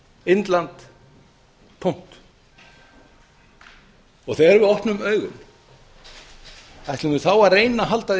indland tómt þegar við opnum augum ætlum við þá að reyna að halda